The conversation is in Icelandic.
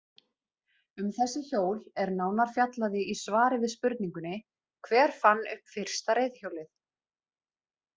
Um þessi hjól er nánar fjallaði í svari við spurningunni Hver fann upp fyrsta reiðhjólið?